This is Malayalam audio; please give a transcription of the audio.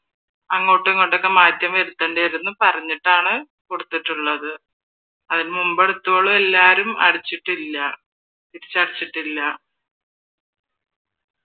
അങ്ങോട്ടും ഇങ്ങോട്ടൊക്കെ മാറ്റം വരുത്തേണ്ടി വരും എന്ന് പറഞ്ഞിട്ടാണ് കൊടുത്തിട്ടുള്ളത് അതിന് മുൻപ് എടുത്തിട്ടുള്ളവളും ആരും അടച്ചിട്ടില്ല തിരിച്ചടച്ചിട്ടില്ല.